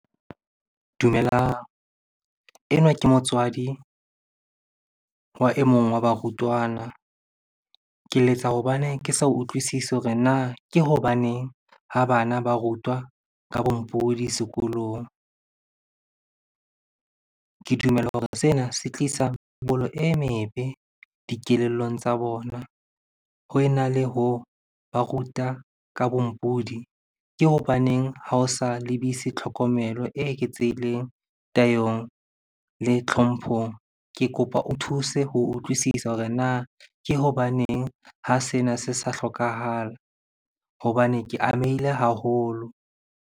Dumelang. Enwa ke motswadi wa e mong wa barutwana. Ke letsa hobaneng ke sa utlwisisi hore na ke hobaneng ha bana ba rutwa ka bompodi sekolong? Ke dumela hore sena se tlisa e mebe dikelellong tsa bona. Ho ena le ho ba ruta ka bompodi, ke hobaneng ha o sa lebise tlhokomelo e eketsehileng tayong le tlhomphong? Ke kopa o thuse ho utlwisisa hore na ke hobaneng ha sena se sa hlokahala hobane ke amehile haholo?